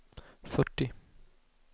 fyrtio